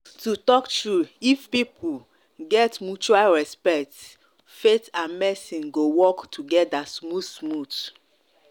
to talk true if people true if people get mutual respect faith and medicine go work together smooth-smooth.